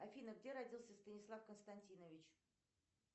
афина где родился станислав константинович